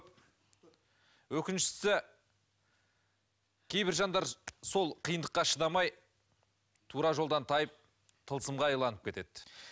өкініштісі кейбір жандар сол қиындыққа шыдамай тура жолдан тайып тылсымға кетеді